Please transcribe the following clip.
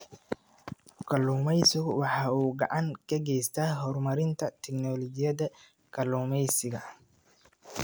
Kalluumaysigu waxa uu gacan ka geystaa horumarinta tignoolajiyada kalluumaysiga.